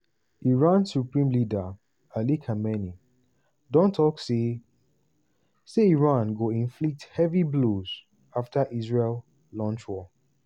iran supreme leader ali khamenei don tok say say iran "go inflict heavy blows" afta israel "launch war".